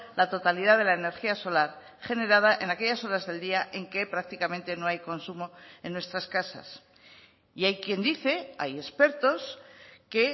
la totalidad de la energía solar generada en aquellas horas del día en que prácticamente no hay consumo en nuestras casas y hay quien dice hay expertos que